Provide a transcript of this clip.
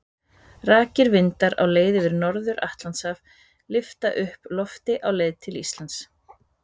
Rakir vindar á leið yfir Norður-Atlantshaf lyfta upp lofti á leið yfir Ísland.